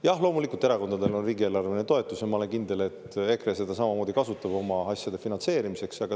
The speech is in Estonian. Jah, loomulikult erakondadel on riigieelarveline toetus ja ma olen kindel, et EKRE kasutab seda oma asjade finantseerimiseks.